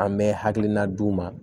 An bɛ hakilina d'u ma